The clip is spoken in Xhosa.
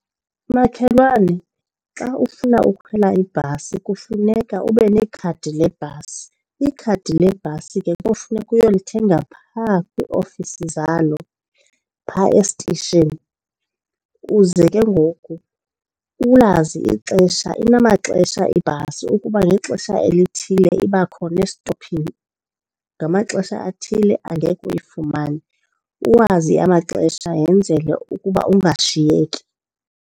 Makhelwane, xa ufuna ukhwela ibhasi kufuneka ube nekhadi lebhasi. Ikhadi lebhasi ke kofuneka uyolithenga phaa kwiiofisi zalo phaa esitishini. Uze ke ngoku ulazi ixesha, inamaxesha ibhasi ukuba ngexesha elithile iba khona estophini, ngamaxesha athile angeke uyifumane, uwazi amaxesha yenzele ukuba angashiyeki.